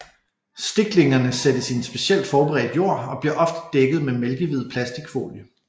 Stiklingerne sættes i en specielt forberedt jord og bliver ofte dækket med mælkehvid plasticfolie